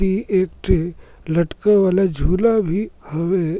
ए एक ठी लटके वाला झूला भी हवे।